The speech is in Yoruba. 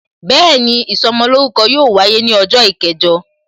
Bẹẹni, ìsọmolórúkọ yóò wáyé ní ọjọ́ kẹjọ